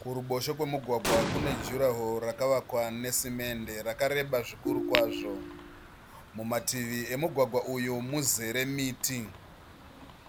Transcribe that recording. Kuruboshwe kwemugwagwa kune juraho rakavakwa nesimende rakareba zvikuru kwazvo. Mumativi emugwagwa uyu muzere miti.